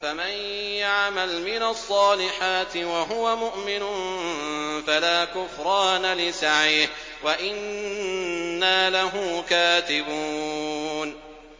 فَمَن يَعْمَلْ مِنَ الصَّالِحَاتِ وَهُوَ مُؤْمِنٌ فَلَا كُفْرَانَ لِسَعْيِهِ وَإِنَّا لَهُ كَاتِبُونَ